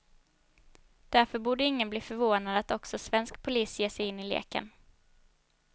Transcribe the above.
Därför borde ingen bli förvånad att också svensk polis ger sig in i leken.